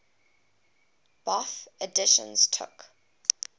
bofh editions took